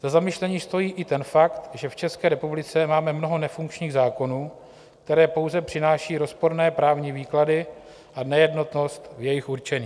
Za zamyšlení stojí i ten fakt, že v České republice máme mnoho nefunkčních zákonů, které pouze přináší rozporné právní výklady a nejednotnost v jejich určení.